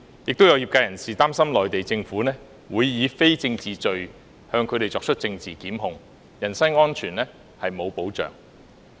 亦有業界人士擔心內地政府會以非政治罪向他們作出政治檢控，人身安全沒有保障。